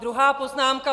Druhá poznámka.